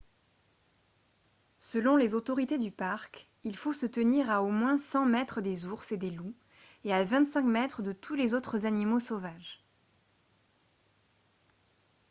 selon les autorités du parc il faut se tenir à au moins 100 mètres des ours et des loups et à 25 mètres de tous les autres animaux sauvages !